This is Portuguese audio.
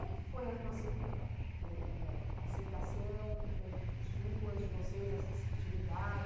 é que foi a tua acei a vo ãh aceitação, suas, de vocês, essa receptividade?